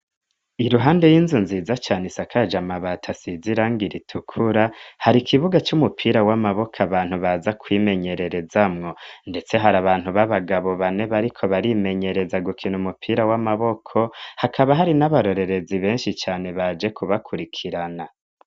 Iruhande y'inzu nziza cane isakaja mabat asizirang iritukura hari ikibuga cy'umupira w'amaboko abantu baza kwimenyerereza mwo ndetse hari abantu b'abagabo bane ba ariko barimenyereza gukina umupira w'amaboko hakaba hari n'abarorerezi benshi cane baje kubakurikirana.